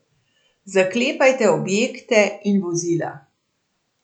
Zaklepajte objekte in vozila.